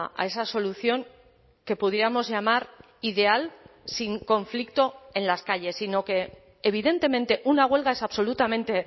a esa solución que pudiéramos llamar ideal sin conflicto en las calles sino que evidentemente una huelga es absolutamente